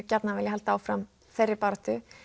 gjarnan vilja halda áfram þeirri baráttu